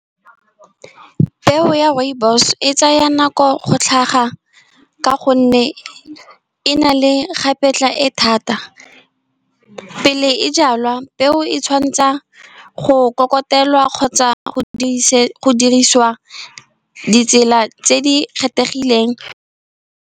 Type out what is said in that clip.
Peo ya rooibos e tsaya nako go tlhaga, ka gonne e na le kgapetla e thata. Pele e jalwa peo e tshwantsha go kokotelwa kgotsa go dirisiwa ditsela tse di kgethegileng.